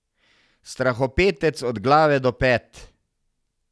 Strahopetec od glave do pet.